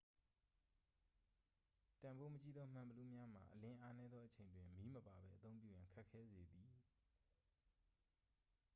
တန်ဖိုးမကြီးသော မှန်ဘီလူးများမှာ အလင်းအားနည်းသော အချိန်တွင် မီးမပါပဲ အသုံးပြုရန် ခက်ခဲစေသည်